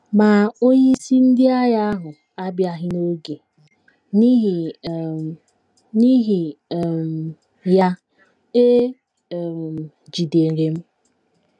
Ma, onyeisi ndị agha ahụ abịaghị n’oge, n’ihi um, n’ihi um ya, e um jidere m.